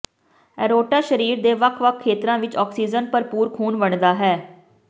aorta ਸਰੀਰ ਦੇ ਵੱਖ ਵੱਖ ਖੇਤਰਾਂ ਵਿੱਚ ਆਕਸੀਜਨ ਭਰਪੂਰ ਖੂਨ ਵੰਡਦਾ ਹੈ